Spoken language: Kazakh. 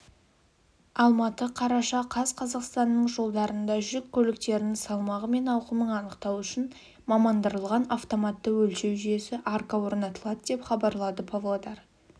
алматы қараша қаз қазақстанның жолдарында жүк көліктерінің салмағы мен ауқымын анықтау үшін мамандандырылған автоматты өлшеу жүйесі арка орнатылады деп хабарлады павлодар